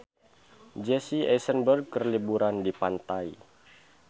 Jesse Eisenberg keur liburan di pantai